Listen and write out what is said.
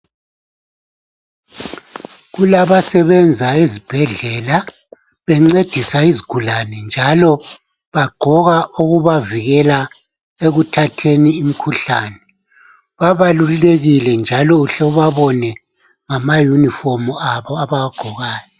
Kulabasebenzayo ezibhedlela bencedisa izigulane njalo bagqoka okubavikela ekuthatheni imikhuhlani babalulekile njalo uhle ubabone ngamayunifomu abo abawagqokayo.